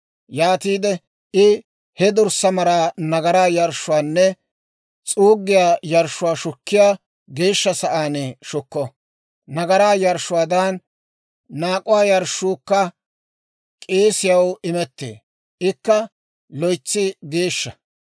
Yaatiide I he dorssaa maraa nagaraa yarshshuwaanne s'uuggiyaa yarshshuwaa shukkiyaa geeshsha sa'aan shukko; nagaraa yarshshuwaadan naak'uwaa yarshshuukka k'eesiyaw imettee; ikka loytsi geeshsha.